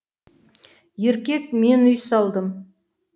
еркек мен үй салдым